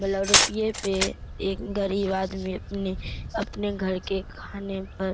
रुपया पे एक गरीब आदमी अपने घर के खाने पर।